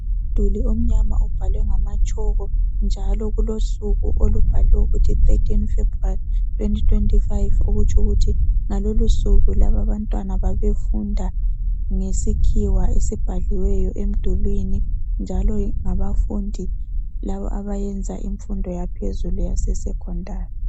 Umduli omnyama obhalwe ngamatshoko njalo kulosuku olubhaliweyo ukuthi13 February2025 okutsho ukuthi ngalolusuku abantwana babefunda ngesikhiwa esibhaliweyo emdulwini njalo ngabafundi laba abayenza imfundo yaphezulu yase secondary.